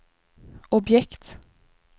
objekt